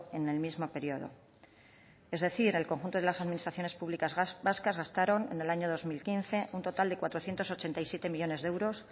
en el mismo periodo es decir el conjunto de las administraciones públicas vascas gastaron en el año dos mil quince un total de cuatrocientos ochenta y siete millónes de euros